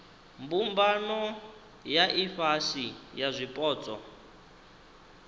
mbumbano ya ifhasi ya zwipotso